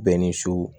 Bɛn ni so